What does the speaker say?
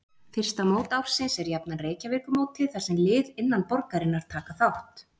Fyrsta mót ársins er jafnan Reykjavíkurmótið þar sem lið innan borgarinnar taka þátt.